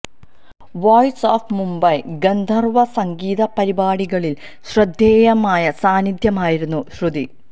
voice of Mumbai ഗന്ധർവ്വ സംഗീത പരിപാടികളിൽ ശ്രദ്ധേയമായ സാന്നിധ്യമായിരുന്നു ശ്രുതി